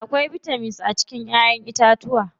Akwai bitamins a cikin ƴaƴen itacuwa.